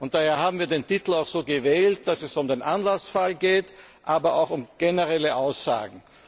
Daher haben wir den Titel auch so gewählt, dass es zwar um den Anlassfall geht, aber auch um generelle Aussagen.